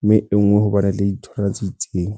mme e nngwe hobane le ditholwana tse itseng.